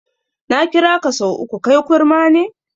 Na kiraka sau uku, kai kurma ne?